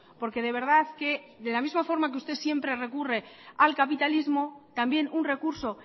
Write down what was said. porque de verdad que de la misma forma que usted siempre recurre al capitalismo también un recurso